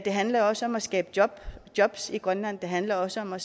handler også om at skabe jobs jobs i grønland det handler også om at